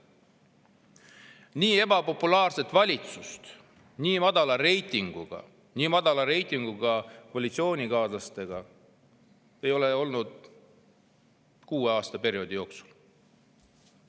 Nii ebapopulaarset valitsust, nii madala reitinguga ja nii madala reitinguga koalitsioonikaaslastega, ei ole olnud kuueaastase perioodi jooksul.